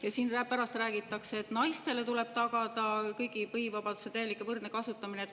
Ja siin pärast räägitakse, et naistele tuleb tagada kõigi põhivabaduste täielik ja võrdne kasutamine.